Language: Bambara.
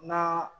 Na